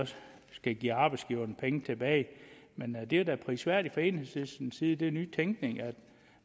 skal give arbejdsgiverne penge tilbage men det er da prisværdigt fra enhedslistens side det er ny tænkning at